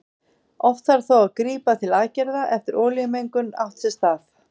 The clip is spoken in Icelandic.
Oft þarf þó að grípa til aðgerða hafi olíumengun átt sér stað.